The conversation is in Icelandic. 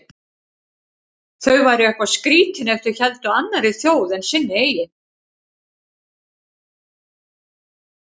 Þau væru eitthvað skrýtin ef þau héldu með annarri þjóð en sinni eigin.